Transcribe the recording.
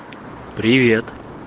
привет